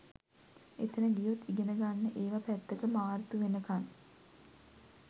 එතන ගියොත් ඉගෙන ගන්න ඒව පැත්තක මාර්තු වෙනකන්